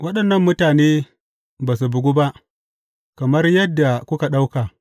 Waɗannan mutane ba su bugu ba, kamar yadda kuka ɗauka.